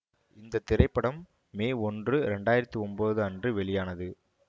இந்த திரைப்படம் மே ஒன்று இரண்டு ஆயிரத்தி ஒன்பது அன்று வெளியானது